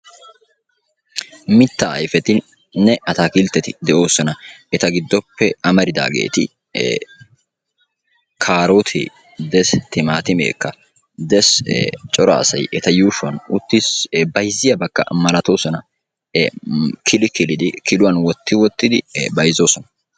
Mitta ayfetinne attakiltteti de'oosona. eta gidoppe amaridageeti kaarote dees, timatimekka des cora asay eta yuushshuwan uttis bayzziya sakka malatoosona kili kilida kiluwan wotti wottidi bayzzosona.